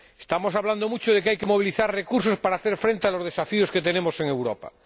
Estamos hablando mucho de que hay que movilizar recursos para hacer frente a los desafíos que afrontamos en Europa.